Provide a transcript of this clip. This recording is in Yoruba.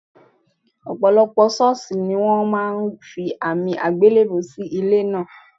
Ò̩pò̩lo̩pò̩ s̩ó̩ò̩s̩ì ní wó̩n máa fi àmì àgbélèbú síwájú ilé náà